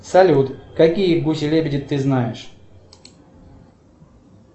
салют какие гуси лебеди ты знаешь